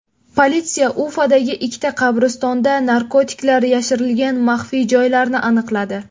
Politsiya Ufadagi ikkita qabristonda narkotiklar yashirilgan maxfiy joylarni aniqladi.